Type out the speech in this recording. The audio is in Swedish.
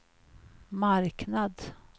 marknad